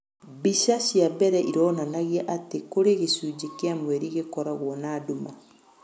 mbĩca cĩa mbere ĩronanagĩa atĩ kũrĩ gacũnjĩ kĩa mwerĩ gĩkoragwo na nduma